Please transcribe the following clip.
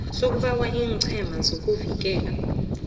sokubawa iccma ukuvikela